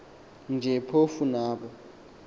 nje phofu nabo